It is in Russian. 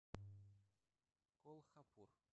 колхапур